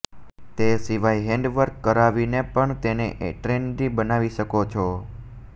તે સિવાય hand work કરાવીને પણ તેને ટ્રેન્ડી બનાવી શકો છો